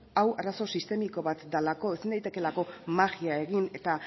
hau arazo sistemiko bat delako ezin daitekeela magia egin eta